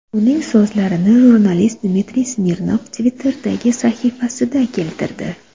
Uning so‘zlarini jurnalist Dmitriy Smirnov Twitter’dagi sahifasida keltirdi .